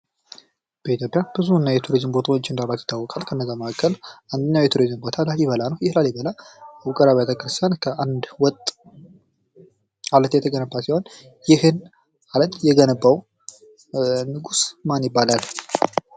በኢትዮጵያ ብዙ የቱሪዝም ቦታዎች እንዳሏት ይታወቃል ከነዛም መካከል አንዱ ላሊበላ ነው ይህ ላሊበላ ውቅር አባተ ክርስቲያን ከአንድ ወጥ አለት ድንጋይ የተገነባ ሲሆን ይህን አለት የገነባው ንጉስ ማን ይባላል?